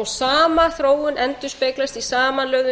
og sama þróun endurspeglast í samanlögðu